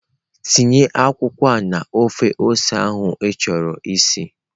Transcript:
Tinye akwụkwọ a na ofe ose ahụ ịchọrọ isi!.